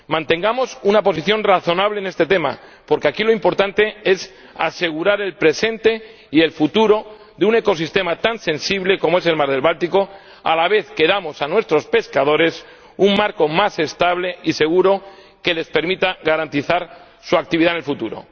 Mantengamos una posición razonable en este tema, porque aquí lo importante es asegurar el presente y el futuro de un ecosistema tan sensible como el mar Báltico a la vez que damos a nuestros pescadores un marco más estable y seguro que les permita garantizar su actividad en el futuro.